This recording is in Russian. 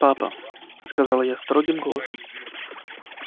папа сказала я строгим голосом